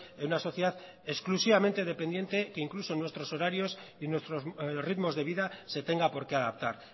en una sociedad exclusivamente dependiente que incluso nuestros horarios y nuestros ritmos de vida se tenga por qué adaptar